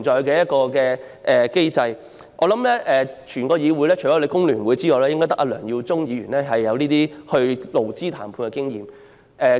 我相信在這議會內，除工聯會外，只有梁耀忠議員擁有參與勞資談判的經驗。